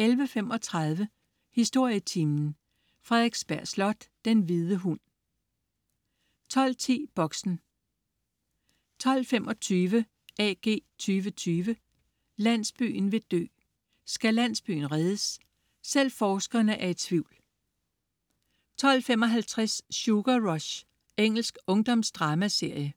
11.35 Historietimen. Frederiksberg Slot. "Den hvide hund" 12.10 Boxen 12.25 AG2020: Landsbyen vil dø. Skal landsbyen reddes? Selv forskerne er i tvivl 12.55 Sugar Rush. Engelsk ungdomsdramaserie